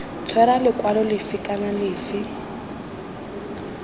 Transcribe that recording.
tshwera lekwalo lefe kana lefe